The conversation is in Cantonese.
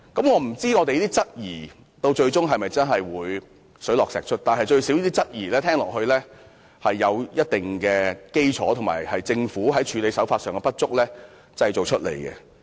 我不知道我們的質疑最終能否水落石出，但這些質疑最少有一定基礎，而且是因為政府處理手法的不足而產生的。